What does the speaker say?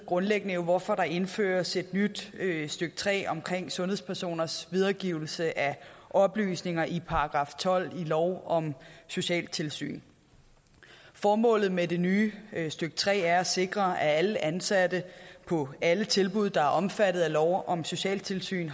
grundlæggende med hvorfor der indføres et nyt stykke tre omkring sundhedspersoners videregivelse af oplysninger i § tolv i lov om socialtilsyn formålet med det nye stykke tre er at sikre at alle ansatte på alle tilbud der er omfattet af lov om socialtilsyn